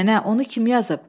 Nənə, onu kim yazıb?